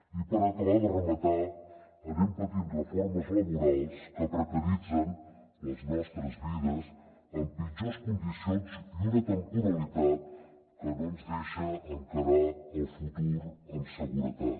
i per acabar ho de rematar anem patint reformes laborals que precaritzen les nostres vides amb pitjors condicions i una temporalitat que no ens deixa encarar el futur amb seguretat